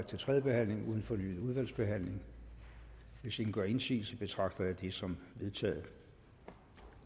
til tredje behandling uden fornyet udvalgsbehandling hvis ingen gør indsigelse betragter jeg det som vedtaget